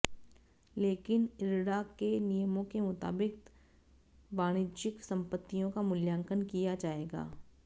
लेकिन इरडा के नियमों के मुताबिक वाणिज्यिक संपत्तियों का मूल्यांकन किया जाएगा